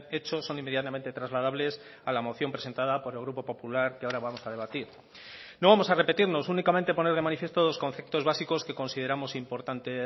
hecho son inmediatamente trasladables a la moción presentada por el grupo popular que ahora vamos a debatir no vamos a repetirnos únicamente poner de manifiesto dos conceptos básicos que consideramos importante